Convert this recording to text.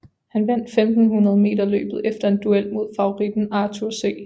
Han vandt 1500 meterløbet efter en duel mod favoritten Arthur C